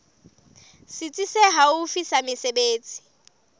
setsi se haufi sa mesebetsi